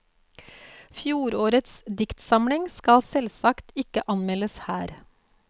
Fjorårets diktsamling skal selvsagt ikke anmeldes her.